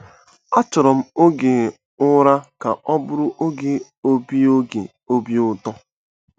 Achọrọ m oge ụra ka ọ bụrụ oge obi oge obi ụtọ.